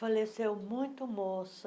Faleceu muito moça,